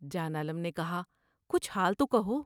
جان عالم نے کہا '' کچھ حال تو کہو ''